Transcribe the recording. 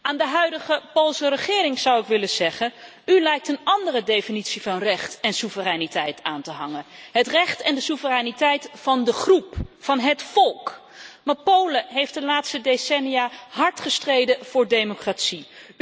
Aan de huidige Poolse regering zou ik willen zeggen U lijkt een andere definitie van recht en soevereiniteit aan te hangen het recht en de soevereiniteit van de groep, van het volk. Polen heeft de laatste decennia echter hard gestreden voor democratie.